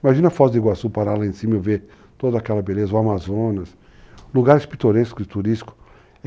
Imagina a Foz do Iguaçu parar lá em cima e ver toda aquela beleza, o Amazonas, lugares pitorescos e turísticos.